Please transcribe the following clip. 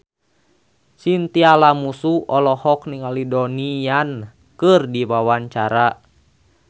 Chintya Lamusu olohok ningali Donnie Yan keur diwawancara